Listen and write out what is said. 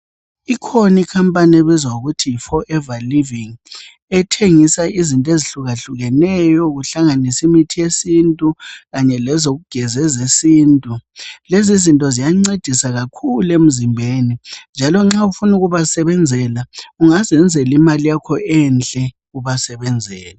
ikhona i company ebizwa ngokuthi yi forever living ethengisa izinto ezihlukahlukeneyo kuhlanganise imithi yesintu kanye lezokugeza ezesintu lezizinto ziyancedisa kakhulu emzimbeni njalo nxa ufuna ukubasebenzela ungazenzela imali yakho enhle ubasebenzela